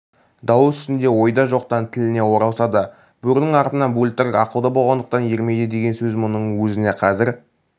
дау үстінде ойда жоқтан тіліне оралса да бөрінің артынан бөлтірік ақылды болғандықтан ермейді деген сөз мұның өзіне қазір